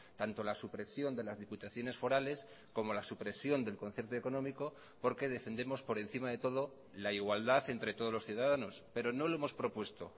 tanto la supresión de las diputaciones forales como la supresión del concierto económico porque defendemos por encima de todo la igualdad entre todos los ciudadanos pero no lo hemos propuesto